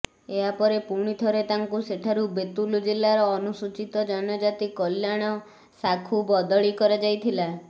ଏହାପରେ ପୁଣି ଥରେ ତାଙ୍କୁ ସେଠାରୁ ବେତୁଲ ଜିଲାର ଅନୁସୂଚିତ ଜନଜାତି କଲ୍ୟାଣ ଶାଖୁ ବଦଳି କରାଯାଇଥିଲା